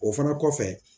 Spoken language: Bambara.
O fana kɔfɛ